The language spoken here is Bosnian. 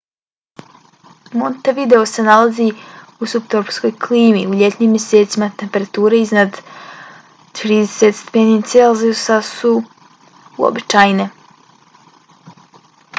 montevideo se nalazi u suptropskoj klimi; u ljetnim mjesecima temperature iznad + 30 °c su uobičajene